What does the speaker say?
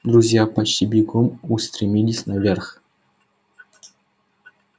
друзья почти бегом устремились наверх